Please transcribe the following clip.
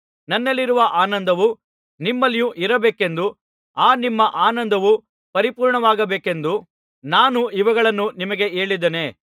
ನನ್ನಲ್ಲಿರುವ ಆನಂದವು ನಿಮ್ಮಲ್ಲಿಯೂ ಇರಬೇಕೆಂದೂ ಆ ನಿಮ್ಮ ಆನಂದವು ಪರಿಪೂರ್ಣವಾಗಬೇಕೆಂದೂ ನಾನು ಇವುಗಳನ್ನು ನಿಮಗೆ ಹೇಳಿದ್ದೇನೆ